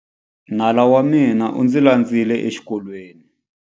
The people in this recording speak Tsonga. Nala wa mina u ndzi landzile exikolweni.